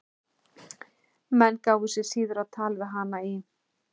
Menn gáfu sig síður á tal við hana í